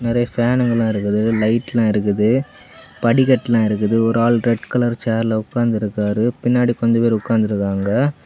நெறைய பேனுங்க எல்லா இருக்குது லைட் எல்லா இருக்குது படிக்கட்டு எல்லா இருக்குது ஒரு ஆள் ரெட் கலர் சேர்ல உட்கார்ந்து இருக்கிரு பின்னாடி கொஞ்சொ பேர் உட்கார்ந்திருக்காங்க.